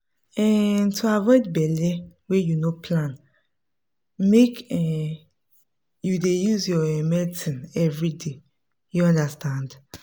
um to avoid belle wey you no plan make um you dey use your um medicine everyday you understand